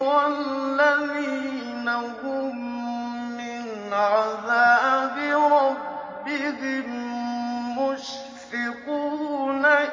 وَالَّذِينَ هُم مِّنْ عَذَابِ رَبِّهِم مُّشْفِقُونَ